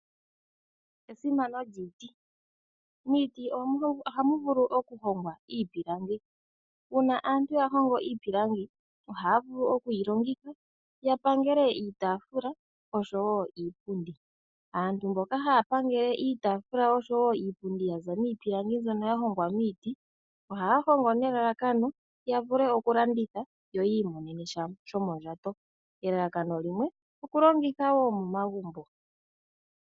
Esimano lyiiti Miiti ohamu vulu okuhongwa iipilangi. Uuna aantu yahongo iipilangi ohaya vulu okuyi longitha yapangele iitaafula oshowo iipundi. Aantu mboka haya pangele iitaafula oshowo iipundi yaza miipilangi mbyono ya hongwa miiti ohaya hongo nelalakano yavule okulanditha yo yiimonenesha shomondjato. Elalakano limwe okulongitha wo momagumbo.